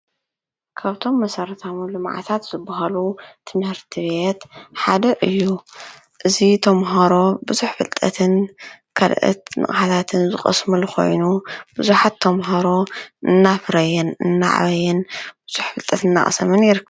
ካብቶም መሠርታሙ ሉመዓታት ዘብሃሉ ትንህርቲት ሓደዕ እዩ እዙይ ተምሃሮ ብዙኅ ፍልጠትን ከልእት ንቃሓታት ዝቀስምሉኾይኑ ብዙኃት ቶምሃሮ እናፍረየን እናዕበየን ብዙሕ ፍልጠት እናኣሰምን ይርከብ።